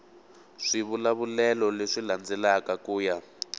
swivulavulelo leswi landzelaka ku ya